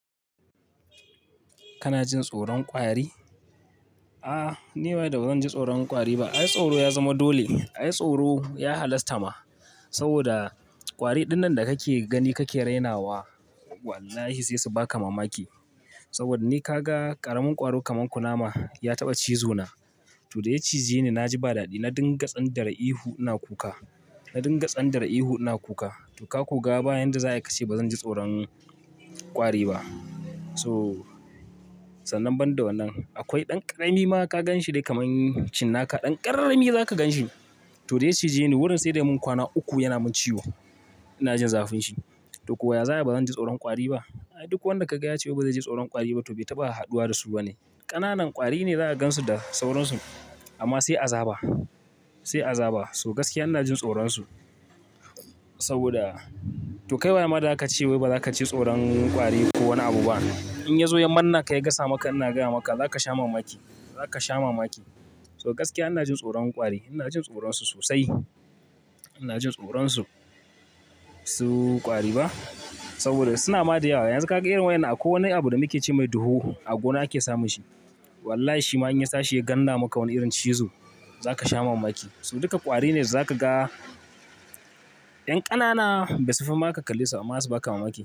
Kana jin tsoron kwari? A'a, ni waye da ba zan ji tsoron kwari ba. Ai tsoro ya zama dole. Ai tsoro ya halasta ma saboda kwari dinnan da kake gani kake rainawa, wallahi sai su baka mamaki. Saboda ni ka ga ƙaramin kwaro kaman kunama ya taɓa cizo na. To dai ya cije ni na ji ba daɗi, na dinga tsan dare ihu ina kuka. Na dinga tsan dare ihu ina kuka. To ka kuga bayan da za a yi ka ce ba zan ji tsoron kwari ba. So sannan banda wannan akwai ɗan ƙarami ma ka ganshi dai kaman cinnaka ɗan ƙarami za ka ganshi. To dai ya cije ni wurin sai da mun kwana uku yana min ciwo. Ina jin zafin shi. To kuwa ya za'a ba zan ji tsoron kwari ba? Ai duk wanda ka ga ya ce ba zai ji tsoron kwari ba to bai taɓa haduwa da su ba ne. Ƙananan kwari ne za ka gansu da sauransu amma sai a zaba, sai a zaba. So gaskiya ina jin tsoronsu saboda to kai wa ya ma za ka ce wai ba za ka ji tsoron kwari ko wani abu ba? In ya zo ya manne ka ya gasa maka ina gaya maka za ka sha mamaki, za ka sha mamaki. So gaskiya ina jin tsoron kwari, ina jin tsoronsu sosai. Ina jin tsoronsu. Su kwari ba saboda suna ma da yawa. Yanzu ka ga irin wayan akwai wani abu da muke ce mai duhoho a gona ake samun shi. Wallahi shima in ya tashi ya ganda maka wani irin cizo za ka sha mamaki. So duka ƙwari ne za ka ga, ƴan ƙanana basu fi ma ka kalle ba amma zasu baka mamaki.